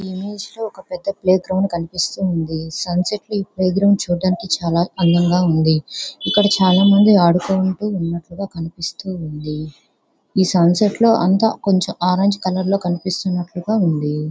Image లో ఒక పెద్ద ప్లేగ్రౌండ్ కనిపిస్తూ ఉంది. సన్ సెట్ ఈ ఎదురుగా చూడ్డానికి చాలా అందంగా ఉంది. ఇక్కడ చాలా మంది ఆడుకుంటూ ఉన్నట్లుగా కనిపిస్తూ ఉంది. ఈ సన్ సెట్ లో అంతా కొంచెం ఆరెంజ్ కలర్ కనిపిస్తున్నట్లు గా ఉంది.